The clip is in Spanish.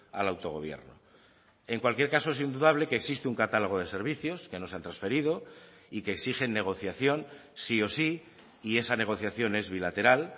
al autogobierno en cualquier caso es indudable que existe un catálogo de servicios que no se han transferido y que exigen negociación sí o sí y esa negociación es bilateral